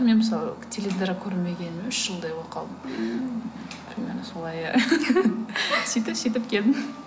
мен мысалы теледидар көрмегеніме үш жылдай болып қалды примерно солай иә сөйтіп сөйтіп келдім